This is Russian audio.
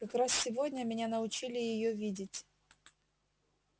как раз сегодня меня научили её видеть